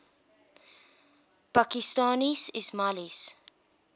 pakistani ismailis